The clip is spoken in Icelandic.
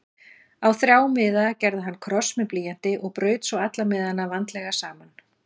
Á þrjá miða gerði hann kross með blýanti og braut svo alla miðana vandlega saman.